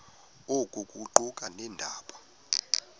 oku kuquka nabeendaba